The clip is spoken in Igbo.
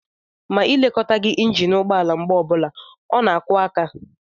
Ma e lekọtaghi injin ụgbọala mgbe ọbụla, ọ na-akụ aka.